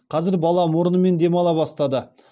қазір бала мұрнымен демала бастады